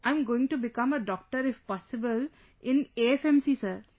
I'm going to become a Doctor if possible, in AFMC sir